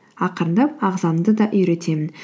ақырындап ағзамды да үйретемін